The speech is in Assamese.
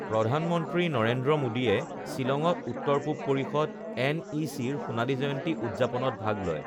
প্ৰধানমন্ত্ৰী নৰেন্দ্ৰ মোদীয়ে শ্বিলঙত উত্তৰ পূব পৰিষদ এনইচি ৰ সোণালী জয়ন্তী উদযাপনত ভাগ লয়